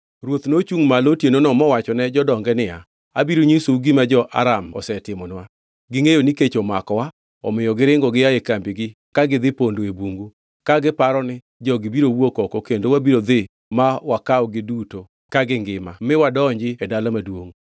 Ruoth nochungʼ malo otienono mowachone jodonge niya “Abiro nyisou gima jo-Aram osetimonwa. Gingʼeyo ni kech omakowa, omiyo giringo gia e kambigi ka gidhi pondo e bungu, ka giparo ni, ‘Jogi biro wuok oko kendo wabiro dhi ma wakawgi duto ka gingima miwadonji e dala maduongʼ.’ ”